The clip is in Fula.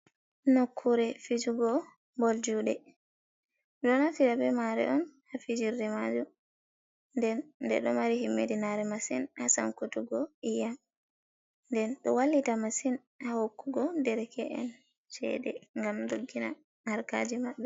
Nokkure fijugo bol juuɗe. Ɗon naftira be maare on haa fijirde majum. Nden ɗe ɗo mari himmiɗinaare masin haa sankutugo iyam. Nden ɗo wallita masin haa hokkugo derke’en ceede ngam doggina harkaaji maɓɓe.